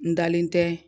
N dalen tɛ